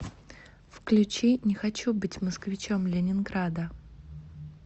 включи не хочу быть москвичом ленинграда